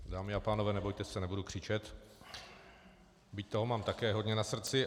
Dámy a pánové, nebojte se, nebudu křičet, byť toho mám také hodně na srdci.